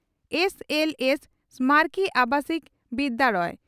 SLS ᱥᱢᱟᱨᱚᱠᱤ ᱟᱵᱟᱥᱤᱠᱚ ᱵᱤᱫᱭᱟᱲᱚᱭᱚ